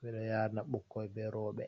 Ɓeɗo yarina ɓukkoi be roɓe.